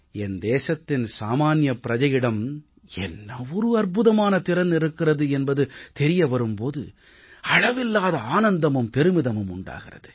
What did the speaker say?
என் தேசத்தின் சாமான்ய பிரஜையிடம் என்ன ஒரு அற்புதமான திறன் இருக்கிறது என்பது தெரிய வரும் போது அளவில்லாத ஆனந்தமும் பெருமிதமும் உண்டாகிறது